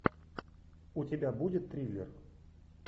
у тебя будет триллер